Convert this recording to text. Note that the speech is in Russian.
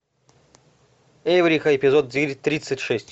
эврика эпизод девять тридцать шесть